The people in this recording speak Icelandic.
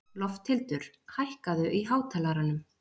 Lofthildur, hækkaðu í hátalaranum.